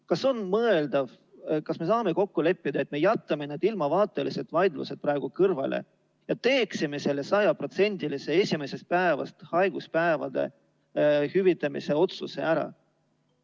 Kas on mõeldav ja kas me saame kokku leppida, et jätame need ilmavaatelised vaidlused praegu kõrvale ja teeme selle sajaprotsendilise esimesest päevast haiguspäevade hüvitamise otsuse ära?